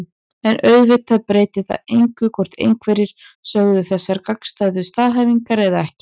En auðvitað breytir það engu hvort einhverjir sögðu þessar gagnstæðu staðhæfingar eða ekki.